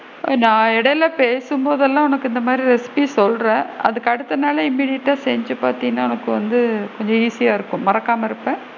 நான் இடைல பேசும்போதுலா உனக்கு இந்த மாதிரி recipe சொல்றேன் அதுக்கு அடுத்த நாளே immediate டா செஞ்சு பாத்தீன்னா உனக்கு வந்து கொஞ்சம் easy யா இருக்கும் மறக்காம இருப்ப,